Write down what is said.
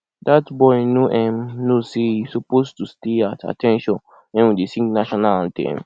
dat boy no um know say he suppose to stay at at ten tion wen we dey sing national anthem